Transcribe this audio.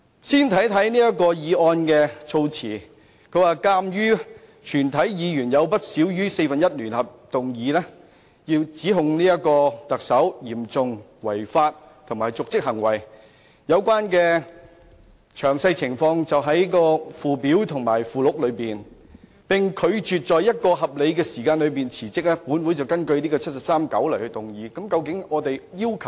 先看看這項議案的措辭，當中說鑒於全體議員有不少於四分之一聯合動議，指控特首嚴重違法，以及有瀆職行為，有關詳情在附表和附錄中。如果特首拒絕在合理時間內辭職，本會便根據《基本法》第七十三條第九項動議議案云云。